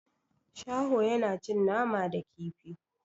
Shaho yana cin nama da kifi.